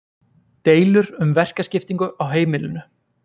deilur um verkaskiptingu á heimilinu